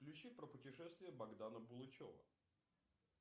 включи про путешествия богдана булычева